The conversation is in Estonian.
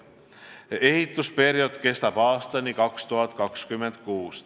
Ehitusperiood kestab aastani 2026.